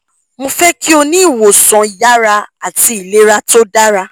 mo fẹ ki o ni iwosan yara ati ilera to dara